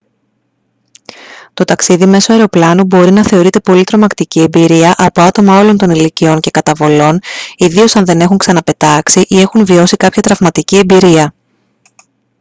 το ταξίδι μέσω αεροπλάνου μπορεί να θεωρείται πολύ τρομακτική εμπειρία από άτομα όλων των ηλικιών και καταβολών ιδίως αν δεν έχουν ξαναπετάξει ή έχουν βιώσει κάποια τραυματική εμπειρία